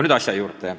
Nüüd asja juurde.